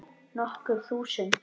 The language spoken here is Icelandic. Nokkur þúsund?